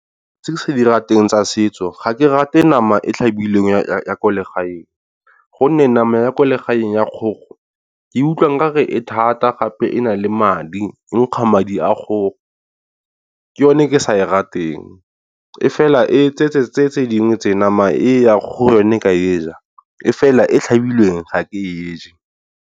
Tse ke sa di rateng tsa setso ga ke rate nama e tlhabilweng ya ko legaeng gonne nama ya ko legaeng ya kgogo ke utlwa nkare e thata gape e na le madi, e nkga madi a kgogo. Ke yone ke sa e ra teng e fela e tse dingwe tse nama e a kgogo ke a e ja e fela e tlhabilweng ga ke e je.